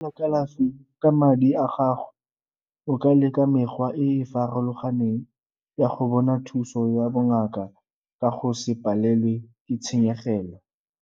kalafi ka madi a gago o ka leka mekgwa e e farologaneng ya go bona thuso ya bongaka ka go se palelwe ke tshenyegelo.